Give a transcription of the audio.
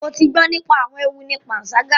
Mo ti gbọ nípa awọn ewu ní panṣaga